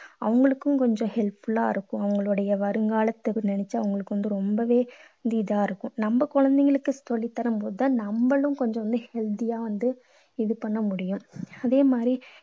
அவங்களுக்கும் கொஞ்சம் helpful லா இருக்கும். அவங்களுடைய வருங்காலத்தை நினைச்சா அவங்களுக்கு வந்து ரொம்பவே இதா இருக்கும். நம்ம குழந்தைங்களுக்கு சொல்லித்தரும் போது தான் நம்மலும் கொஞ்சம் வந்து healthy யா வந்து இது பண்ண முடியும். அதே மாதிரி